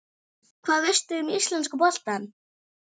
Hvað veistu um íslenska boltann?